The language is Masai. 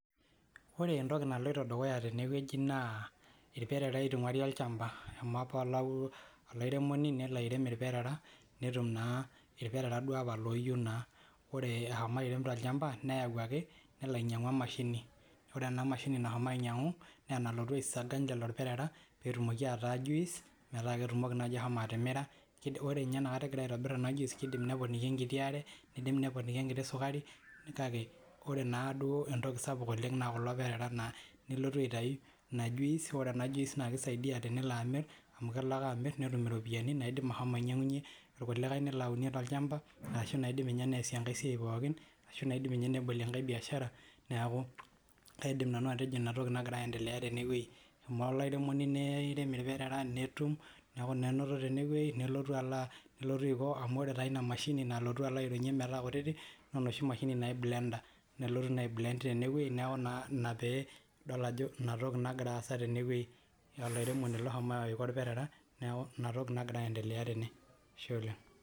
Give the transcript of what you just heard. Ore entiki naloito dukuya tene wueji naa ilperara itungauari olchampa. eshomo apa olairemoni nelo airem ilperera netum naa, irperera duo apa looyieu naa. ore eshomo airem tolchampa neyau ake nelo ainyiang'u. Emashini, ore ena mashini nashomo ainyiang'u, nee enalotu aisiaga lelo perera, pee etumoki ataa Juice metaa ketumoki naaji ashomo atimira, ore ninye inakata egira aitobir ena juice neponiki enkiti are nidim neponiki enkiti sukari, kake ore naaduo entoki sapuk oleng naa kulo perera naa, nelotu aitayu Ina juice ore ena cs]juice naa kisaidia tenelo amir, amu kelo ake amir netum iropiyiani naidim ashomo ainyiang'unye irkuliakae nelo aunie tolchampa, ashu inaidim. Ninye neesie enkae siai pookin ashu naidim ninye nebolie enkae biashara neeku kaidim nanu atejo Ina toki nagira aendelea tene wueji, eshomo olairemoni neirem irperera netum, neeku naa enoto tene wueji nelotu Aiko amu ore taa Ina mashini nalotu aironyie metaa kutiti naa enoshi mashini naji blender nelotu naa ai blend tene wueji neeku naa Ina pee idol ajo, Ina toki nagira aasa tene wueji, olairemoni loshomo Aiko ilperera neeku Ina toki nagira aendelea tene Ashe oleng.